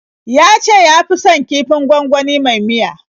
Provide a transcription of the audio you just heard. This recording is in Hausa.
Ya ce ya fi son kifin gwangwani mai miya.